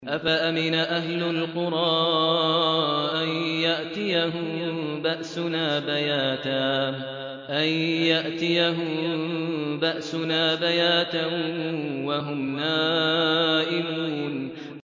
أَفَأَمِنَ أَهْلُ الْقُرَىٰ أَن يَأْتِيَهُم بَأْسُنَا بَيَاتًا وَهُمْ نَائِمُونَ